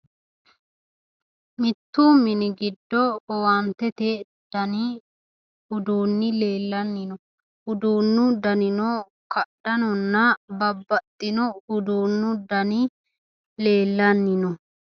mittu mini giddo owaantete dani uduunni leellanni no uduunnu danino kadhanonna babaxino uduunnu dani leellanni no.